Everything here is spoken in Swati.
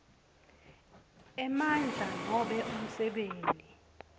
emandla nobe umsebenti